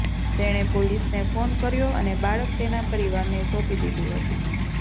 તેણે પોલીસને ફોન કર્યો અને બાળક તેના પરિવારને સોંપી દીધું હતું